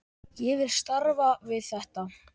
Ég vil starfa við þetta.